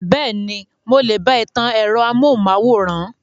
Bẹ́ẹ̀ni, mo lè bá ẹ tan ẹ̀rọ amóhùnmáwòrán.